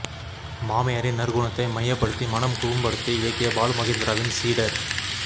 மாமியாரின் நற்குணத்தை மையப்படுத்தி மனம் குறும்படத்தை இயக்கிய பாலு மகேந்திராவின் சீடர்